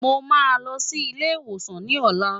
Mo máa lọ sí ilé ìwòsàn ní ọ̀la.